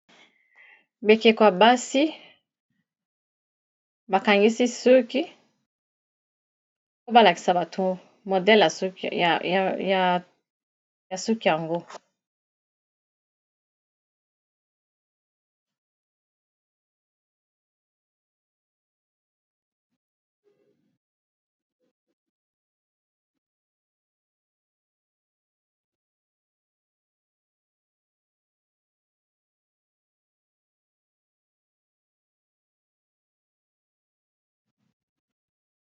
Bikeko ya basi bakangisi suki po balakisa bato modele ya suki yango.